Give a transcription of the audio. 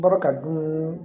N bɔra ka dun